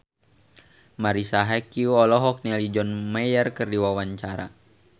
Marisa Haque olohok ningali John Mayer keur diwawancara